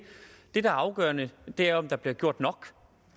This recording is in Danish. det der er afgørende er om der bliver gjort nok